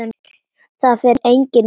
Það fer enginn út!